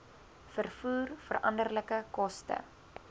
vervoer veranderlike koste